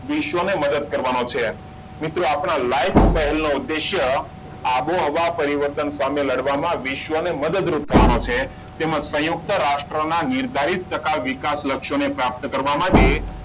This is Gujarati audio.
વિશ્વની મદદ કરવાનું છે. મિત્રો આપણા લાઈફ પહેલનો ઉદ્દેશ્ય આબોહવા પરિવર્તન સામે લડવામાં વિશ્વની મદદરૂપ થવાનું છે. તેમાં સંયુક્ત રાષ્ટ્ર ના નિર્ધારિત તથા વિકાસ લક્ષ્યોને પ્રાપ્ત કરવા માટે,